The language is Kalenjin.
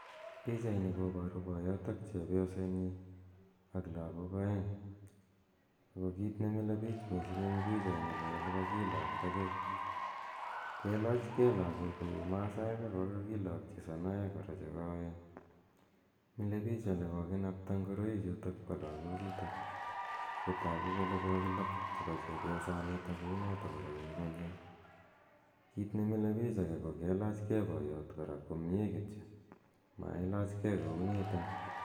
Pichaini koparu poyot ak chepyosenyi ak lagok aeng'. Ako kiit ne mile piich missing' eng' pichaini ko ole kakilakta gei, kelach ve lagok kou Masaek ako kakilakchi sonoek kora che koen. Mile piik ole kokinapata ngoroichutok pa lagochutok. Ako tagu kole kokinap chepo chepyosani kou nitok kora eng' ing'uny yo. Kiit ne mile piich age ko kelachge potot komye kityo ama ilachgei kounitok.